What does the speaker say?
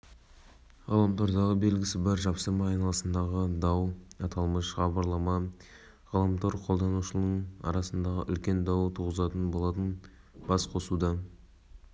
мемлекет басшысы нұрсұлтан назарбаев атырау қаласына жұмыс сапарымен барды президент мұнай саласының өкілдерімен кездесіп өңір басшысы нұрлан ноғаев аймақтың экономикалық-әлеуметтік дамуы